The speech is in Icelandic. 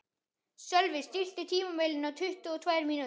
Sölvi, stilltu tímamælinn á tuttugu og tvær mínútur.